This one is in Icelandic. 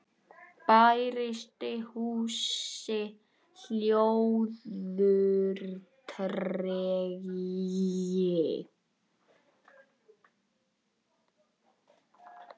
Bærist í húsi hljóður tregi.